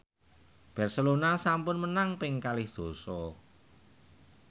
Barcelona sampun menang ping kalih dasa